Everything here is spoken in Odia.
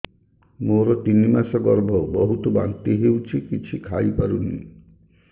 ମୋର ତିନି ମାସ ଗର୍ଭ ବହୁତ ବାନ୍ତି ହେଉଛି କିଛି ଖାଇ ପାରୁନି